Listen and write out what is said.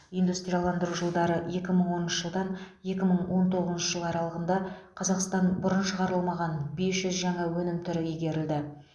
индустрияландыру жылдары екі мың оныншы жылдан екі мың он тоғызыншы жыл аралығында қазақстанда бұрын шығарылмаған бес жүз жаңа өнім түрі игерілді